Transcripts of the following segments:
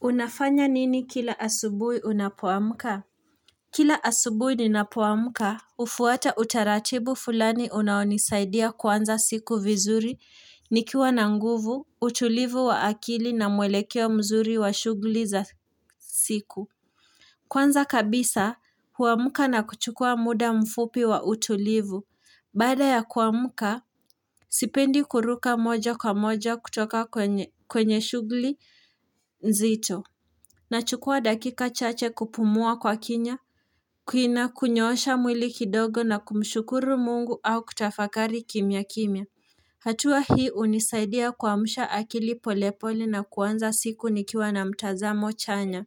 Unafanya nini kila asubuhi unapoamka? Kila asubuhi ninapoamka, hufuata utaratibu fulani unaonisaidia kuanza siku vizuri, nikiwa na nguvu, utulivu wa akili na mwelekeo mzuri wa shughuli za siku. Kwanza kabisa, huamka na kuchukua muda mfupi wa utulivu, bada ya kuamka, sipendi kuruka moja kwa moja kutoka kwenye shughuli nzito. Na chukua dakika chache kupumua kwa kinya, kuina kunyoosha mwili kidogo na kumshukuru mungu au kutafakari kimya kimya. Hatua hii unisaidia kuamsha akili polepole na kuanza siku nikiwa na mtazamo chanya.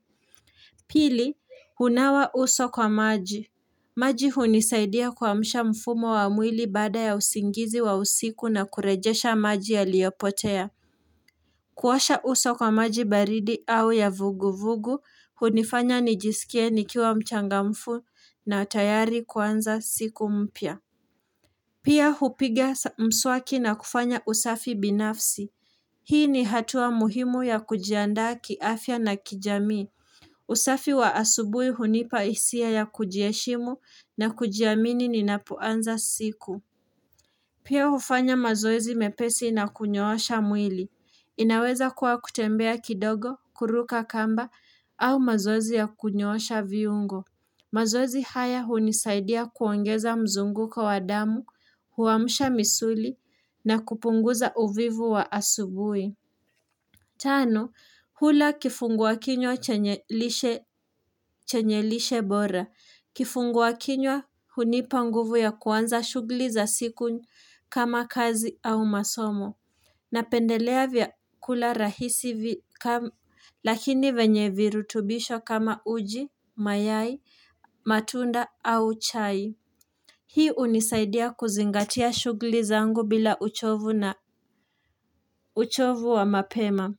Pili, hunawa uso kwa maji. Maji hunisaidia kuamsha mfumo wa mwili baada ya usingizi wa usiku na kurejesha maji ya liyopotea. Kuwasha uso kwa maji baridi au ya vugu vugu, hunifanya nijisikie nikiwa mchangamfu na tayari kuanza siku mpya. Pia hupiga mswaki na kufanya usafi binafsi. Hii ni hatua muhimu ya kujiandaa kiafya na kijamii. Usafi wa asubuhi hunipa hisia ya kujiheshimu na kujiamini ni ninapoanza siku. Pia hufanya mazoezi mepesi na kunyoosha mwili. Inaweza kuwa kutembea kidogo, kuruka kamba, au mazoezi ya kunyoosha viungo. Mazozi haya hunisaidia kuongeza mzunguko kwa damu, huamsha misuli, na kupunguza uvivu wa asubuhi. Tano, hula kifungua kinywa chenye lishe bora. Kifungu wa kinywa, hunipa nguvu ya kuanza shughuli za siku kama kazi au masomo. Napendelea vya kula rahisi lakini vyenye virutubisho kama uji, mayai, matunda au chai. Hii unisaidia kuzingatia shugli zangu bila uchovu na uchovu wa mapema.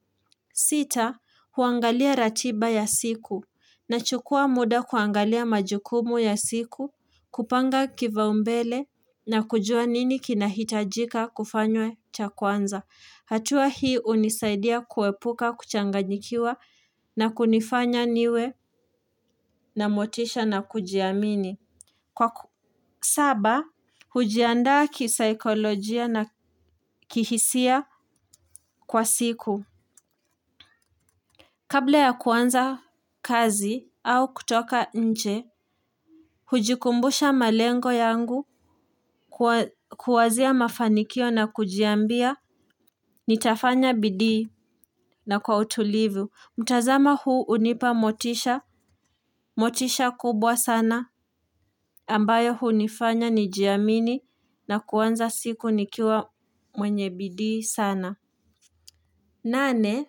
Sita, huangalia ratiba ya siku. Nachukua muda kuangalia majukumu ya siku, kupanga kivaumbele na kujua nini kinahitajika kufanywe chakwanza. Hatua hii hunisaidia kuepuka, kuchanganyikiwa na kunifanya niwe na motisha na kujiamini. Kwa saba, hujiandaa kisaikolojia na kihisia kwa siku. Kabla ya kuanza kazi au kutoka nje, hujikumbusha malengo yangu kuwazia mafanikio na kujiambia nitafanya bidii na kwa utulivu. Mtazama huu unipa motisha, motisha kubwa sana ambayo hu nifanya nijiamini na kuanza siku nikiwa mwenye bidii sana. Nane,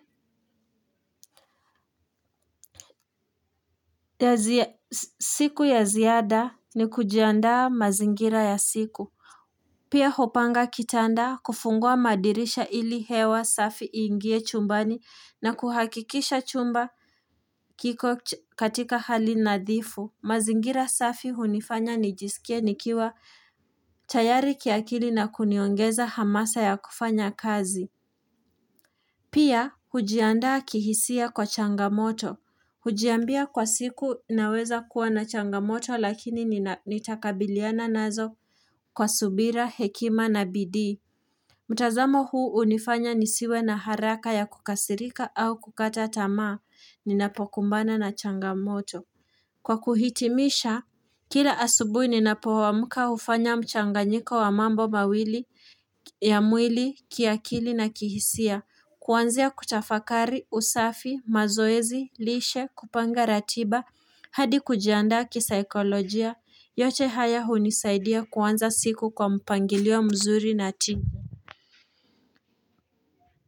siku ya ziada ni kujiandaa mazingira ya siku. Pia hopanga kitanda kufungua madirisha ili hewa safi ingie chumbani na kuhakikisha chumba kiko katika hali nadhifu. Mazingira safi hunifanya nijisikia nikiwa tayari kiakili na kuniongeza hamasa ya kufanya kazi. Pia, hujiandaa kihisia kwa changamoto. Hujiambia kwa siku naweza kuwa na changamoto lakini nitakabiliana nazo kwa subira, hekima na bidi. Mtazamo huu hunifanya nisiwe na haraka ya kukasirika au kukata tamaa ninapokumbana na changamoto. Kwa kuhitimisha, kila asubuhi nina po amka hufanya mchanganyiko wa mambo mawili ya mwili, kiakili na kihisia, kuanzia kutafakari, usafi, mazoezi, lishe, kupanga ratiba, hadi kujiandaa kisaikolojia, yote haya hunisaidia kuanza siku kwa mpangilio mzuri na tija.